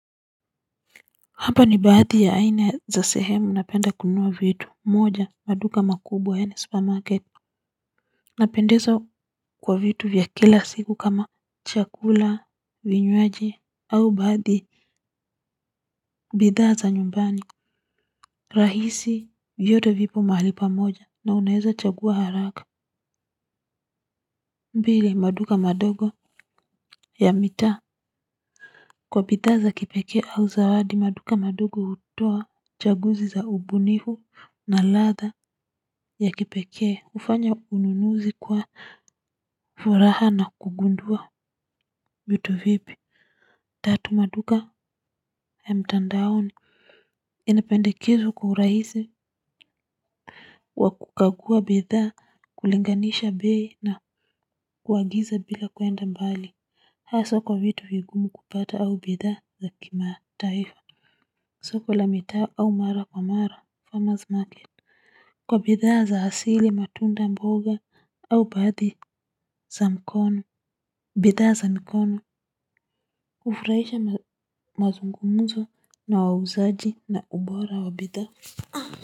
Hapa ni baadhi ya aina ya sehemu napenda kununua vitu, moja, maduka makubwa yani supermarket napendezwa kwa vitu vya kila siku kama chakula vinywaji au baadhi bidhaa za nyumbani rahisi vyote vipo mahali pamoja na unaezachagua haraka mbili maduka madogo ya mitaa. Kwa bidha za kipekee au zawadi maduka madogo utoa chaguzi za ubunifu na ladha ya kipekee ufanya ununuzi kuwa furaha na kugundua vitu vipi. Tatu maduka ya mtandaoni inependekizwa kwa urahisi wa kukagua bidhaa kulinganisha bei na kuagiza bila kuenda mbali. Haswa kwa vitu vigumu kupata au bidhaa za kimataifa soko la mitaa au mara kwa mara farmers market kwa bidhaa za asili matunda mboga au baadhi za mkono. Bidhaa za mkono hufuraisha mazungumzo na wauzaji na ubora wa bidhaa.